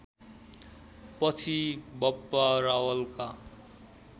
पछि बप्पा रावलका